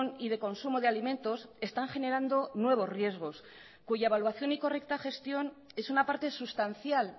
y de consumo de alimentos están generando nuevos riesgos cuya evaluación y correcta gestión es una parte sustancial